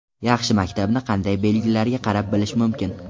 Yaxshi maktabni qanday belgilariga qarab bilish mumkin?.